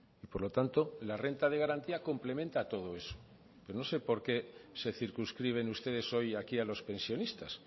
y por lo tanto la renta de garantía complementa a todo eso pero no sé porque se circunscriben ustedes hoy aquí a los pensionistas